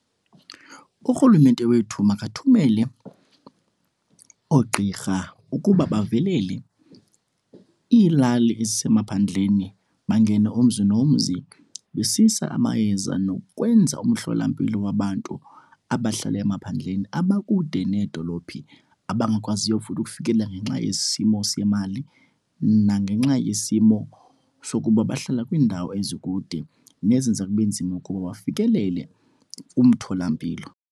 Urhulumente wethu makathumele oogqirha ukuba bavelele iilali ezisemaphandleni. Bangene umzi nomzi besisa amayeza nokwenza umhlolampilo wabantu abahlala emaphandleni, abakude needolophi abangakwaziyo futhi ukufikelela ngenxa yesimo semali nangenxa yesimo sokuba bahlala kwiindawo ezikude nezenza kube nzima ukuba bafikelele kumtholampilo.